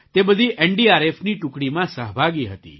તે બધી એનડીઆરએફની ટુકડીમાં સહભાગી હતી